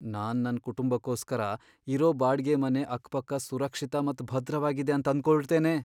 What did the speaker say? ನಾನ್ ನನ್ನ ಕುಟುಂಬಕ್ಕೋಸ್ಕರ ಇರೋ ಬಾಡ್ಗೆ ಮನೆ ಅಕ್ ಪಕ್ಕ ಸುರಕ್ಷಿತ ಮತ್ ಭದ್ರವಾಗಿದೆ ಅಂತ್ ಆಂದಕೊಳ್ತೇನೆ.